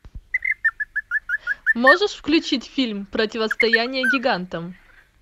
можешь включить фильм противостояние гигантам